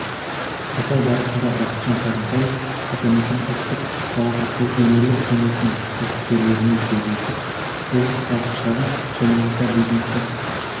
сапар барысында бақытжан сағынтаев атамекен ұлттық палатасы өңірлік кеңесінің кәсіпкерлерімен кездесіп облыстағы шағын және орта бизнесті